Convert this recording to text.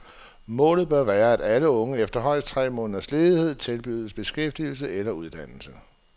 Målet bør være, at alle unge efter højst tre måneders ledighed tilbydes beskæftigelse eller uddannelse.